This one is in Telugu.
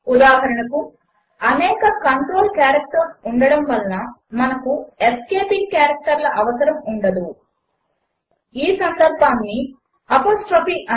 ఉదాహరణకు అనేక కంట్రోల్ క్యారెక్టర్లు ఉండటము వలన మనకు ఎస్కేపింగ్ క్యారెక్టర్ల అవసరము ఉండదు ఈ సందర్భములో అపాస్ట్రఫీ